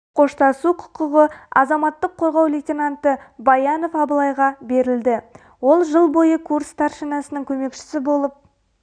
қоштасу құқығы азаматтық қорғау лейтананты баянов абылайға берілді ол жыл бойы курс старшинасының көмекшісі болып